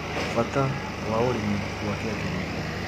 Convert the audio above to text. Bata wa ũrĩmi wa kĩanjĩrĩria